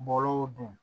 Bɔlɔlɔw dun